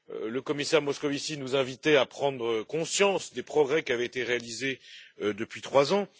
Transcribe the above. Le commissaire Moscovici nous invitait à prendre conscience des progrès qui avaient été réalisés depuis trois ans.